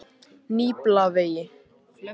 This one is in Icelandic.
Nýbýlavegi